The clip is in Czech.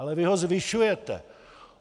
Ale vy ho zvyšujete!